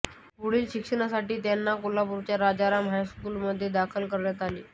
पुढील शिक्षणासाठी त्यांना कोल्हापूरच्या राजाराम हायस्कूलमध्ये दाखल करण्यात आले